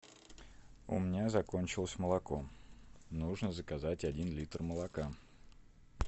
у меня закончилось молоко нужно заказать один литр молока